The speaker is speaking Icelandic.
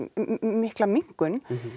mikla minnkun